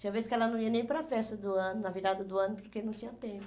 Tinha vezes que ela não ia nem para a festa do ano, na virada do ano, porque não tinha tempo.